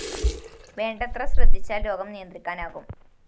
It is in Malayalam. വേണ്ടത്ര ശ്രദ്ധിച്ചാല്‍ രോഗം നിയന്ത്രിക്കാനാകും